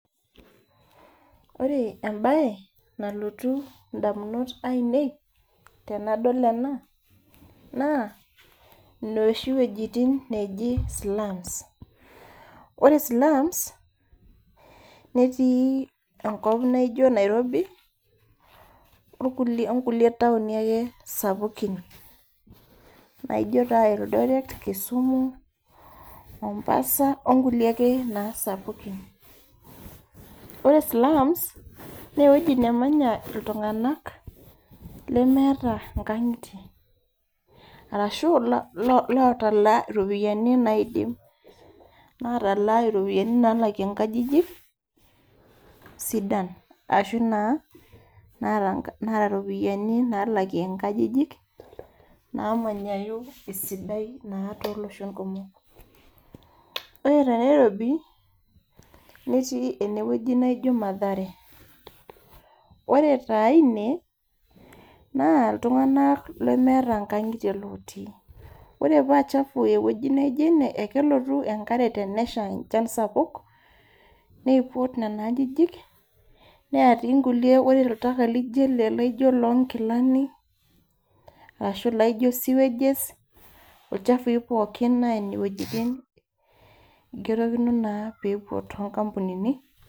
Ore mbae nalotu edamunot ainei tenadol ena naa enoshiwuejitin najii slums ore slums netii enkop naijio Nairobi onkulie taoni sapukin naijio ildoret Kisumu Mombasa onkulie sapukin ore slums naa ewueji nemanya iltung'ana lemeeta nkang'itie arashu otalaa eropiani nalakie nkajijik sidan arashu Natalaa eropiani nalakie nkajijik namanyayu naa too loshon kumok Nairobi nettii ene wueji nejii matahare ore taa ine naa iltung'ana lemetaa nkang'itie otii ore paa chafua ewueji naijio ene naa kelotu enkare tenesha enchan sapuk input Nena ajijik netii enkulie ore oltaka loo nkilani ashu sewage ilchafui pookin naa Nene wuejitin egirekeno naa pee epuo too nkampunini